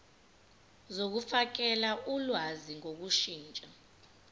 zokufakela ulwazi ngokushintsha